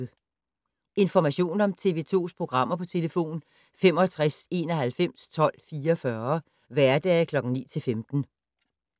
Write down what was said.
Information om TV 2's programmer: 65 91 12 44, hverdage 9-15.